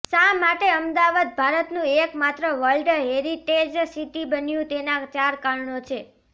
શા માટે અમદાવાદ ભારતનું એક માત્ર વલ્ડ હેરિટેજ સિટી બન્યું તેના ચાર કારણો છે